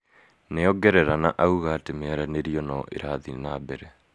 Nĩongerera na auga atĩ miaranirio no irathii na mbere